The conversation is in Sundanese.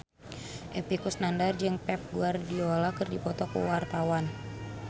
Epy Kusnandar jeung Pep Guardiola keur dipoto ku wartawan